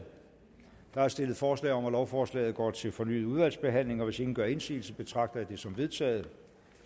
der er stillet forslag om at lovforslaget går til fornyet udvalgsbehandling og hvis ingen gør indsigelse betragter jeg det som vedtaget